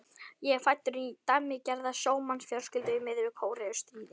Ég er fæddur inn í dæmigerða sjómannsfjölskyldu í miðju Kóreustríði.